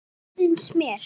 Já, það finnst mér.